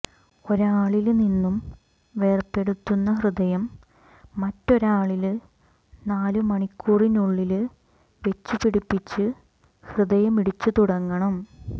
ഒരാളില് നിന്നും വേര്പെടുത്തുന്ന ഹൃദയം മറ്റൊരാളില് നാലുമണിക്കൂറിനുള്ളില് വെച്ചു പിടിപിച്ച് ഹൃദയം മിടിച്ചു തുടങ്ങണം